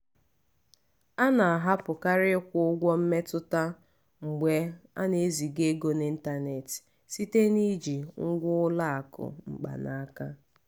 a na-ahapụkarị ịkwụ ụgwọ mmetụta mgbe ana-eziga ego n'ịntanetị site na iji ngwa ụlọ akụ mkpanaka.